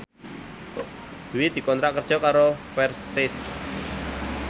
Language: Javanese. Dwi dikontrak kerja karo Versace